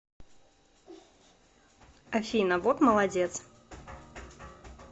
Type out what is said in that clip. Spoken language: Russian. афина вот молодец